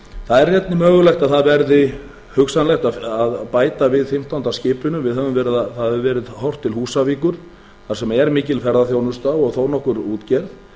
það er einnig mögulegt að það verði hugsanlegt að bæta við fimmtánda skipinu það hefur verið horft til húsavíkur þar sem er mikil ferðaþjónusta og þó nokkur útgerð